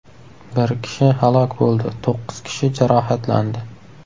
Bir kishi halok bo‘ldi, to‘qqiz kishi jarohatlandi.